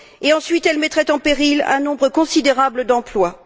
ensuite, elle mettrait en péril un nombre considérable d'emplois.